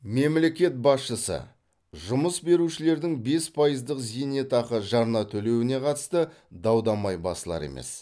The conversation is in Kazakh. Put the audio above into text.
мемлекет басшысы жұмыс берушілердің бес пайыздық зейнетақы жарна төлеуіне қатысты дау дамай басылар емес